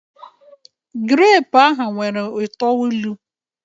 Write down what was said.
grape ahụ nwere uto ilu